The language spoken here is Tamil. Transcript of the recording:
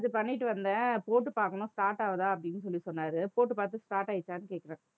நேத்து பண்ணிட்டு வந்தேன் போட்டு பார்க்கணும், start ஆகுதா அப்படின்னு சொல்லி சொன்னாரு போட்டு பார்த்து start ஆயிடுச்சான்னு கேட்கிறேன்